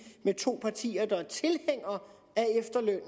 med to partier der er tilhængere